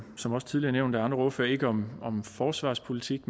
som også tidligere nævnt af andre ordførere ikke om om forsvarspolitik